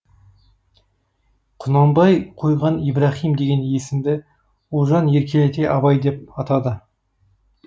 құнанбай койған ибраһим деген есімді ұлжан еркелете абай деп атады